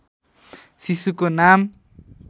शिशुको नाम